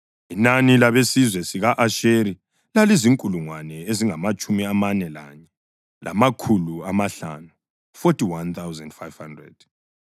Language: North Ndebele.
Inani labesizwe sika-Asheri lalizinkulungwane ezingamatshumi amane lanye, lamakhulu amahlanu (41,500).